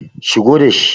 shigo da shi!